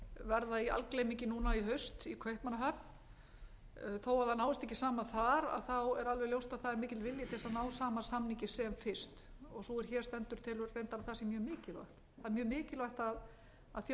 verða í algleymingi núna í haust í kaupmannahöfn þó að það náist ekki saman þar er alveg ljóst að það er mikill vilji til þess að ná sama samningi sem fyrst og sú er hér stendur telur reyndar að það sé mjög mikilvægt það er mjög mikilvægt að